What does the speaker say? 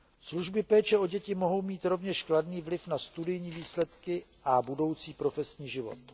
Služby péče o děti mohou mít rovněž kladný vliv na studijní výsledky a budoucí profesní život.